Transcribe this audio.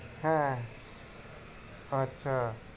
হ্যাঁ আচ্ছা